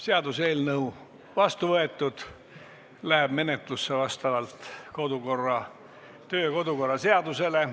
Seaduseelnõu on vastu võetud ja läheb menetlusse vastavalt kodu- ja töökorra seadusele.